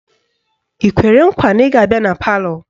Ị kwere nkwa na ị ga-abịa na palọ?